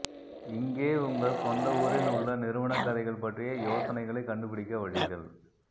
இங்கே உங்கள் சொந்த ஊரில் உள்ள நிறுவன கதைகள் பற்றிய யோசனைகளைக் கண்டுபிடிக்க வழிகள்